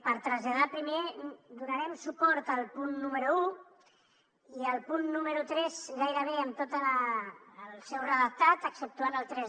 per traslladar primer que donarem suport al punt número un i al punt número tres gairebé en tot el seu redactat exceptuant el tres